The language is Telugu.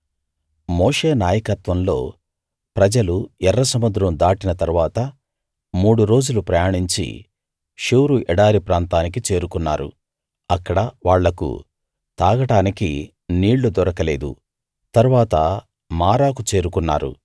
మోషే నాయకత్వంలో ప్రజలు ఎర్ర సముద్రం దాటిన తరువాత మూడు రోజులు ప్రయాణించి షూరు ఎడారి ప్రాంతానికి చేరుకున్నారు అక్కడ వాళ్ళకు తాగడానికి నీళ్లు దొరకలేదు తరువాత మారాకు చేరుకున్నారు